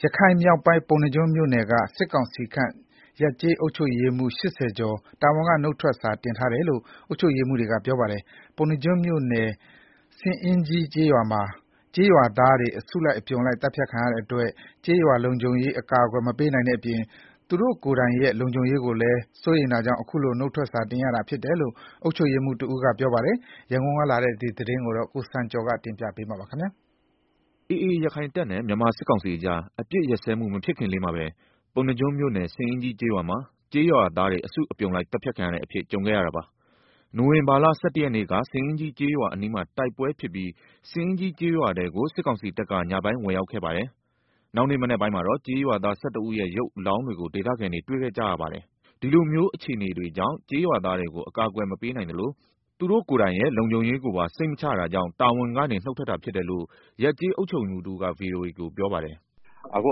ရခိုင်မြောက်ပိုင်း ပုဏ္ဏားကျွန်းမြို့နယ်က စစ်ကောင်စီခန့် ရပ်ကျေးအုပ်ချုပ်ရေးမှူး ၈၀ ကျော် တာဝန်က နုတ်ထွက်စာ တင်ထားတယ်လို့ အုပ်ချုပ်ရေးမှူးတွေက ပြောပါတယ်။ ပုဏ္ဏားကျွန်းမြို့နယ် ဆင်အင်းကြီးကျေးရွာမှာ ကျေးရွာသားတွေ အစုအပြုံလိုက် သတ်ဖြတ်ခံရတဲ့အတွက် ကျေးရွာလုံခြုံရေး အကာအကွယ်မပေးနိုင်တဲ့အပြင် သူတို့ကိုယ်တိုင်ရဲ့လုံခြုံရေးကိုလည်း စိုးရိမ်တာကြောင့် အခုလို နုတ်ထွက်စာတင်ရတာ ဖြစ်တယ်လို့ အုပ်ချုပ်ရေးမှူးတဦးကပြောပါတယ်။ ရန်ကုန်ကလာတဲ့သတင်းကို ကိုစံကျော်က တင်ပြပေးထားပါတယ်။ AA ရခိုင်တပ်နဲ့ မြန်မာစစ်ကောင်စီအကြား အပစ်ရပ်စဲမှု မဖြစ်ခင်လေးမှာပဲ ပုဏ္ဏားကျွန်းမြို့နယ် ဆင်အင်းကြီးကျေးရွာမှာ ကျေးရွာသားတွေ အစုအပြုံလိုက်သတ်ဖြတ်ခံရပါတယ်။ နိုဝင်ဘာလ ၁၁ ရက်နေ့က ဆင်အင်းကြီးကျေးရွာအနီးမှာ တိုက်ပွဲဖြစ်ပြီး ဆင်အင်းကြီး ကျေးရွာထဲကို စစ်ကောင်စီတပ်က ညပိုင်းဝင်ရောက်ခဲ့ပြီး နောက်နေ့ မနက်ပိုင်းမှာတော့ ကျေးရွာသား ၁၁ ဦးရဲ့ ရုပ်အလောင်းတွေကို ဒေသခံတွေ တွေ့ခဲ့ကြရပါတယ်။ ဒီလိုမျိုးအခြေအနေကြောင့် ကျေးရွာသားတွေကို အကာအကွယ် မပေးနိုင်သလို သူတို့ကိုယ်တိုင်ရဲ့လုံခြုံရေးကိုပါ စိတ်မချတာကြောင့် တာဝန်ကနေ နုတ်ထွက်တာဖြစ်တယ်လို့ ရပ်ကျေးအုပ်ချုပ်ရေးမှူးတဦးက ဗွီအိုအေကို ပြောပါတယ်။ “ အခု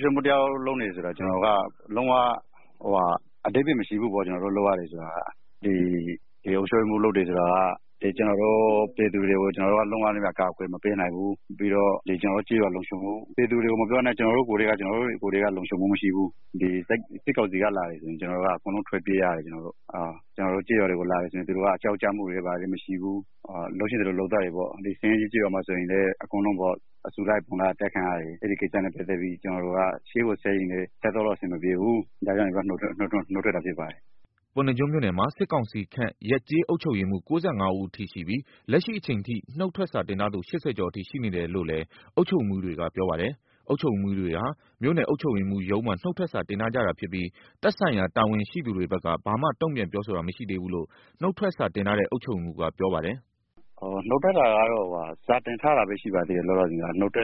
ကျနော်တို့ အုပ်ချုပ်ရေးမှူးလုပ်နေရတာ အဓိပ္ဗာယ်မရှိဘူး။ ပြည်သူတွေကို ကျနော်တို့ လုံးဝ အကာအကွယ်မပေးနိုင်ဘူး။ ပြီးတော့ ကျနော်တို့ ကျေးရွာလုံခြုံမှု ပြည်သူတွေမပြောနဲ့ ကျနော်တို့ ကိုယ်တိုင်က လုံခြုံမှုမရှိဘူး၊ စစ်ကောင်စီက လာပြီဆိုရင် ကျနော်တို့ ထွက်ပြေးရတယ်-အကုန်လုံး၊ သူတို့က ရွာတွေကိုလာရင် လုပ်ချင်သလို လုပ်သွားတယ်။ ဆင်အင်းကြီးကျေးရွာမှာဆိုရင်လည်း အစုလိုက်အပြုံလိုက် အကုန်လုံး အသတ်ခံရတယ်။ ဒီကိစ္စနဲ့ပတ်သက်ပြီး ကျနော်တို့ ရှေ့ကိုဆက်ရင်လည်း ဆက်သွားလို့ အဆင်မပြေဘူး၊ ဒါကြောင့် နုတ်ထွက်တာ ဖြစ်ပါတယ်။” ပုဏ္ဏားကျွန်းမြို့နယ်မှာ စစ်ကောင်စီခန့် ရပ်ကျေးအုပ်ချုပ်ရေးမှူး ၉၅ ဦးအထိရှိပြီး လက်ရှိအချိန် ထိ နုတ်ထွက်စာတင်ထားသူ ၈၀ ကျော်အထိ ရှိနေတယ်လို့လည်း အုပ်ချုပ်ရေးမှူးတွေက ပြောပါတယ်။ အုပ်ချုပ်ရေးမှူးတွေဟာ မြို့နယ်အုပ်ချုပ်ရေးမှူးရုံးမှာ နုတ်ထွက်စာတင်ထားကြတာဖြစ်ပြီး သက်ဆိုင်ရာတာဝန်ရှိသူတွေဘက်က ဘာမှတုံ့ပြန်ပြောဆိုတာ မရှိသေးဘူးလို့ နုတ်ထွက်စာတင်ထားတဲ့ အုပ်ချုပ်ရေးမှူးက ပြောပါတယ်။ “နုတ်ထွက်တာကတော့ စာတင်ထားတာလောက်ပဲရှိပါသေးတယ်။ လောလောဆယ်က ကို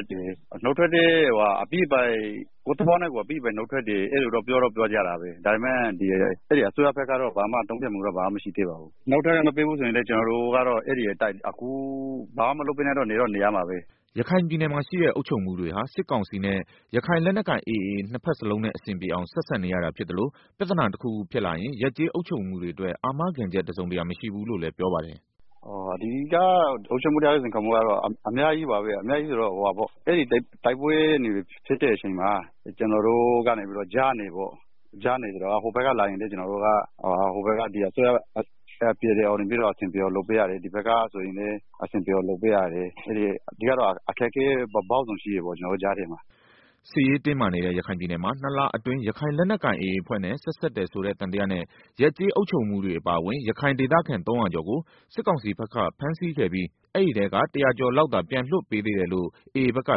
ယ့် သဘောနဲ့ကိုယ် အပြီးပိုင်နုတ်ထွက်တယ်လို့တော့ ပြောကြတာပါပဲ။ ဒါပေမဲ့ အစိုးရဘက်ကတော့ ဘာမှ တုံ့ပြန်မှုတော့ မရှိသေးပါဘူး။ နုတ်ထွက်ခွင့်မပေးရင်လည်း ကျနော်တို့က ဘာမှမလုပ်ဘဲ နေတော့မယ်။” ရခိုင်ပြည်နယ်မှာရှိတဲ့အုပ်ချုပ်ရေးမှူးတွေဟာ စစ်ကောင်စီနဲ့ ရခိုင်လက်နက်ကိုင် AA နှစ် ဘက်စလုံးနဲ့ အဆင်ပြေအောင် ဆက်ဆံနေရတာ ဖြစ်သလို ပြဿနာတခုခုဖြစ်လာရင် ရပ်ကျေးအုပ်ချုပ်ရေးမှူးတွေအတွက် အာမခံချက် တစုံတရာမရှိဘူးလို့လည်း ပြောပါတယ်။ “ ဒီက အုပ်ချုပ်ရေးမှူးတယောက်ရဲ့ စိန်ခေါ်မှုတွေကတော့ အများကြီးပါပဲ။ တိုက်ပွဲနယ်မြေဖြစ်တဲ့ အတွက် ကျနော်တို့ကတော့ ကြားနေပေါ့။ ဟိုဘက်က လာရင်လည်း အဆင်ပြေအောင်လုပ်ပေးရတယ်။ အစိုးရဘက်ကလာရင်လည်း အဆင်ပြေအောင်လုပ်ပေးရတယ် ဆိုတော့ အခက်အခဲပေါင်းစုံရှိတာပေါ့- ဒီကြားထဲမှာ။” စစ်ရေးတင်းမာနေတဲ့ ရခိုင်ပြည်နယ်မှာ ၂ လအတွင်း ရခိုင်လက်နက်ကိုင် AA အဖွဲ့နဲ့ ဆက်စပ် တယ်ဆိုတဲ့ သံသယနဲ့ ရပ်ကျေးအုပ်ချုပ်ရေးမှူးတွေအပါအဝင် ရခိုင်ဒေသခံ ၃၀၀ ကျော်ကို စစ်ကောင်စီဘက်ကဖမ်းဆီးခဲ့ပြီး အဲဒီထဲက ၁၀၀ ကျော်လောက်သာ ပြန်လွှတ်ပေးသေးတယ်လို့ AA ဘက်က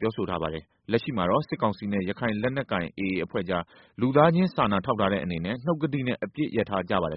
ပြောထားပါတယ်။ လက်ရှိမှာတော့ စစ်ကောင်စီနဲ့ ရခိုင်လက်နက်ကိုင် AA အဖွဲ့ကြား လူသားချင်းစာနာထောက်ထားတဲ့အနေနဲ့ နှုတ်ကတိနဲ့ အပစ်ရပ်ထားကြပါတယ်